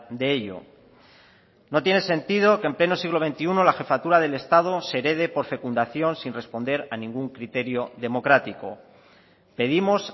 de ello no tiene sentido que en pleno siglo veintiuno la jefatura del estado se herede por fecundación sin responder a ningún criterio democrático pedimos